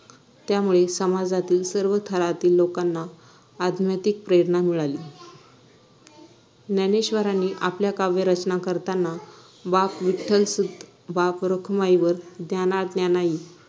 त्यामुळे समाजातील सर्व थरातील लोकांना अज्ञातिक प्रेरणा मिळाली ज्ञानेश्वरांनी आपल्या काव्य रचना करताना बाप विठ्ठलसुत बाप रखुमाईवर ज्ञाना ज्ञानाई